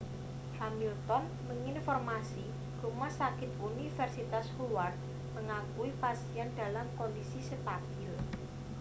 hamilton mengonfirmasi rumah sakit universitas howard mengakui pasien dalam kondisi stabil